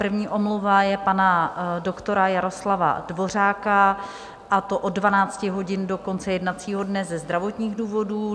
První omluva je pana doktora Jaroslava Dvořáka, a to od 12 hodin do konce jednacího dne ze zdravotních důvodů.